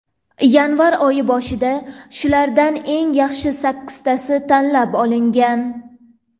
Yanvar oyi boshida shulardan eng yaxshi sakkiztasi tanlab olingan.